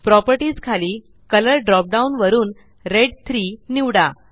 properties खाली colour drop down वरून red 3 निवडा